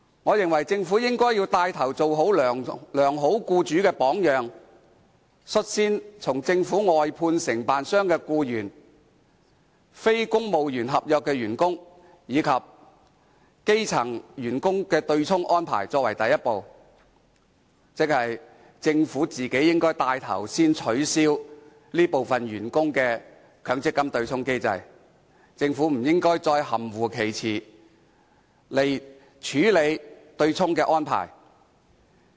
我認為政府應帶頭做好良好僱主的榜樣，率先以政府外判承辦商的僱員、非公務員合約員工及基層員工的對沖安排作為第一步，即是由政府帶頭取消這些員工的強積金對沖機制，而不應再在處理對沖安排一事上含糊其詞。